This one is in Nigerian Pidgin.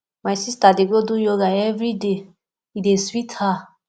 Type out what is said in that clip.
my sista dey do yoga for everyday e dey sweet her